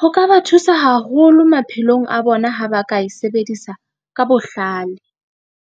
Ho ka ba thusa haholo maphelong a bona, ha ba ka e sebedisa ka bohlale.